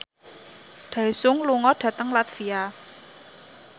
Daesung lunga dhateng latvia